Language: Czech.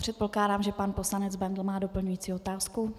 Předpokládám, že pan poslanec Bendl má doplňující otázku.